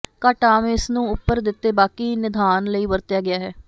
ਘੱਟ ਆਮ ਇਸ ਨੂੰ ਉੱਪਰ ਦਿੱਤੇ ਬਾਕੀ ਿਨਦਾਨ ਲਈ ਵਰਤਿਆ ਗਿਆ ਹੈ